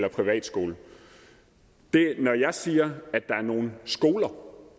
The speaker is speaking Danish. en privatskole når jeg siger at der er nogle skoler